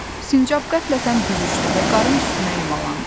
Sincab qəflətən büzüşdü və qarın üstünə yumalandı.